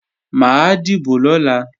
Mà á dìbò lọ́la